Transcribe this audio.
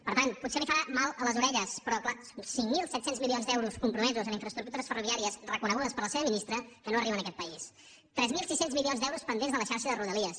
per tant potser li farà mal a les orelles però clar són cinc mil set cents milions d’euros compromesos en infraestructures ferroviàries reconegudes per la seva ministra que no arriben a aquest país tres mil sis cents milions d’euros pendents de la xarxa de rodalies